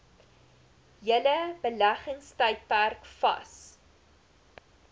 hele beleggingstydperk vas